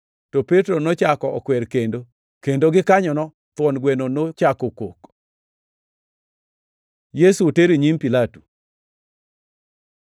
To Petro nochako okwer kendo, kendo gikanyono thuon gweno nochako kok. Yesu oter e nyim Pilato